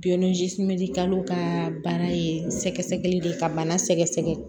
kalo ka bana ye sɛgɛsɛgɛli de ye ka bana sɛgɛsɛgɛ